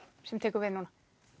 sem tekur við núna